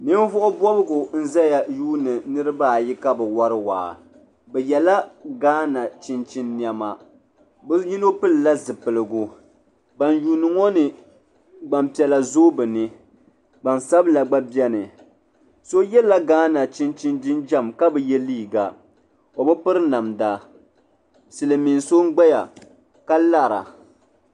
Ninvuɣubɔbigu n-zaya yuuni niriba ayi ka bɛ wari waa bɛ yela Ghana chinchini nɛma bɛ yino pilila zipiligu ban yuuni ŋɔ ni gbampiɛla zooi bɛ ni gbansabila gba beni so yela Ghana chinchini jinjam ka bi ye liiga o bi piri namda silimiin so n-gbaya ka lara.